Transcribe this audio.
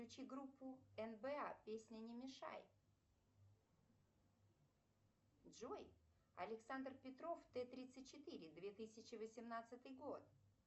включи группу нба песня не мешай джой александр петров т тридцать четыре две тысячи восемнадцатый год